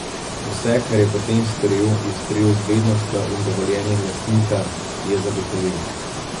Vse, kar je potem storil, je storil z vednostjo in dovoljenjem lastnika, je zagotovil.